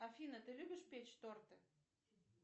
афина ты любишь печь торты